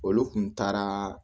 Olu kun taara